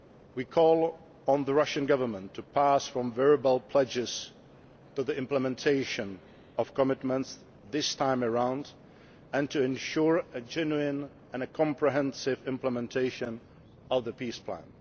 We call on the Russian Government to pass from verbal pledges to the implementation of commitments this time around and to ensure a genuine and a comprehensive implementation of the peace plan.